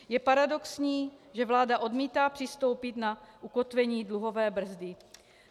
Je paradoxní, že vláda odmítá přistoupit na ukotvení dluhové brzdy.